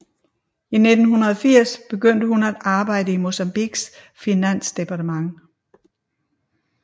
I 1980 begyndte hun at arbejde i Mozambiques finansdepartement